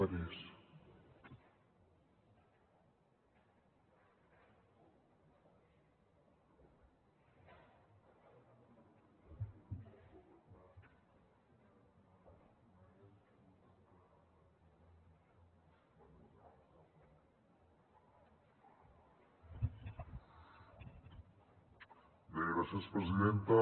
bé gràcies presidenta